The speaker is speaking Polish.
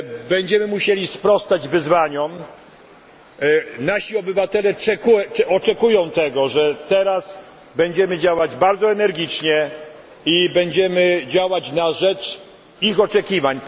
Będziemy musieli sprostać wyzwaniom, nasi obywatele oczekują tego, że teraz będziemy działać bardzo energicznie i będziemy działać na rzecz ich oczekiwań.